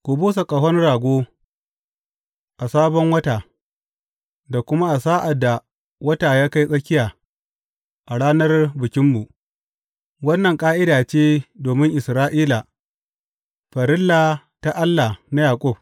Ku busa ƙahon rago a Sabon Wata, da kuma sa’ad da wata ya kai tsakiya, a ranar Bikinmu; wannan ƙa’ida ce domin Isra’ila, farilla ta Allah na Yaƙub.